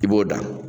I b'o da